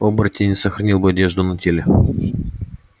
оборотень не сохранил бы одежду на теле